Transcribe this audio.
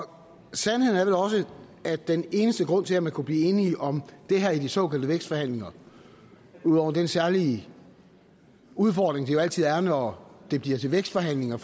sandheden er vel også at den eneste grund til at man kunne blive enige om det her i de såkaldte vækstforhandlinger ud over den særlige udfordring det altid er når det bliver til vækstforhandlinger